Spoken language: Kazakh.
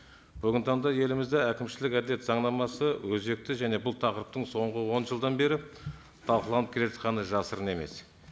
бүгінгі таңда елімізде әкімшілік әділет заңнамасы өзекті және бұл тақырыптың соңғы он жылдан бері талқыланып келе жатқаны жасырын емес